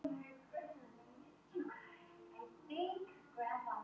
Þeir eru samt með gott lið.